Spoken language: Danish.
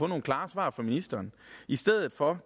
nogle klare svar fra ministeren i stedet for